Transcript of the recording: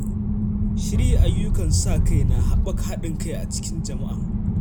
Shirya ayyukan sa-kai na haɓaka haɗin kai a cikin jama’a.